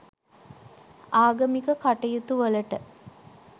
ආගමික කටයුතුවලට